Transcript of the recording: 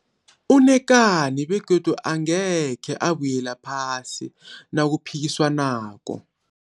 Unekani begodu angekhe abuyela phasi nakuphikisanwako.